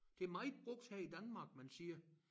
Det meget brugt her i Danmark man siger